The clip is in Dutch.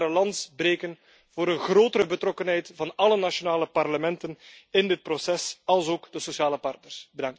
Ik kan alleen maar een lans breken voor een grotere betrokkenheid van alle nationale parlementen in dit proces, alsook van de sociale partners.